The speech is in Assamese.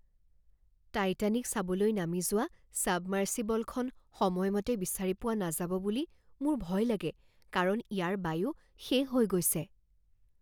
টাইটানিক চাবলৈ নামি যোৱা ছাবমাৰ্চিবলখন সময়মতে বিচাৰি পোৱা নাযাব বুলি মোৰ ভয় লাগে কাৰণ ইয়াৰ বায়ু শেষ হৈ গৈছে।